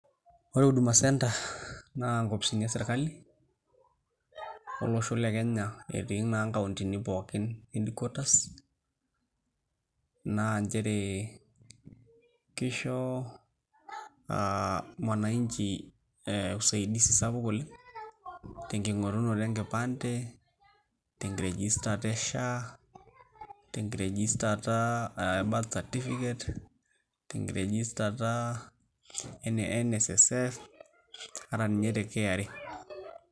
Ore Huduma Centre naa nkopisini e sirkali olosho le Kenya etii naa nkauntini pookin headquaters naa nchere kisho aa mwananchi ee usaidizi sapuk oleng' tenking'orunoto enkipande, tenkiregistata e SHA, tenkiregistata e birth certificate, tenkiregistata e NSSF ata ninye te KRA.